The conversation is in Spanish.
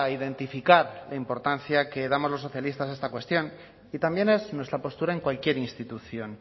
identificar la importancia que damos los socialistas a esta cuestión y también es nuestra postura en cualquier institución